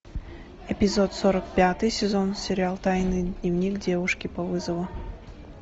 эпизод сорок пятый сезон сериал тайный дневник девушки по вызову